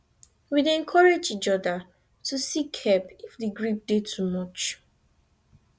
we dey encourage each oda to seek help if grief dey too much